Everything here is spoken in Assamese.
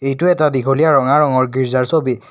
এইটো এটা দীঘলীয়া ৰঙা ৰঙৰ গীৰ্জাৰ ছবি।